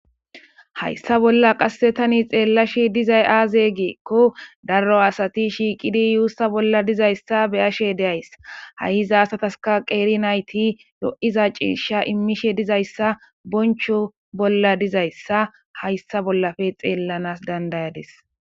Hayssa bolla qasse tani xeella shi dizay aaze geekko daro asati shiiqidi yuussa bolla dizayssa beyashe deays ha7i hizasataska qeeri nayti lo7iza ciisha immishe dizayssa boncho bolla dizayssa hayssa bollafe xeellanas dandayades